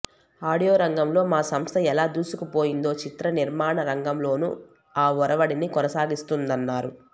audio రంగంలో మా సంస్థ ఎలా దూసుకుపోయిందో చిత్ర నిర్మాణ రంగంలోనూ ఆ ఒరవడిని కొనసాగిస్తుందన్నారు